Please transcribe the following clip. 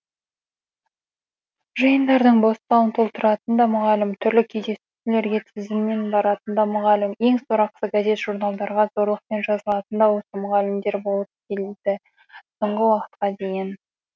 жиындардың бос залын толтыратын да мұғалім түрлі кездесулерге тізіммен баратын да мұғалім ең сорақысы газет журналдарға зорлықпен жазылатын да осы мұғалімдер болып келді соңғы уақытқа дейін